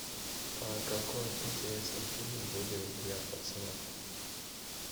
какой интересный фильм будет для пацанов